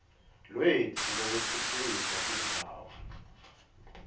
lwetfu lwekutfutfukisa tindzawo